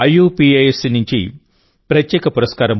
IUPACనుండి ప్రత్యేక పురస్కారం పొందారు